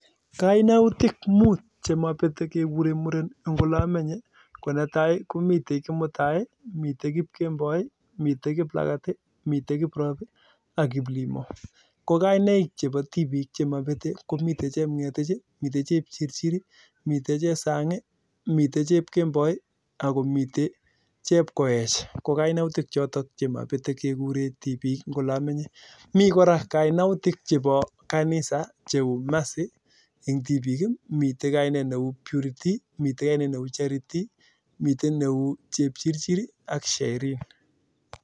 Kaimutik muut chemabetei kekurei muren eng' ole amenye ko netai komitei kimutai mitei kipkemboi mitei kiplagat mitei kiprop ak kiplimo ko kainaik chebo tibiik chemabetei ko mitei chemg'etich mitei chepchirchir mitei chesang' mitei chepkemboi ako mitei chepkoech ko kainautik chotok chemabetei kekurei tibiik eng' ole amenye mi kora kainautik chebo kanisa cheu mercy eng' tibiik mitei kainet neu purity mitei kainet neu charity mitei neu chepchirchir ak Sheryl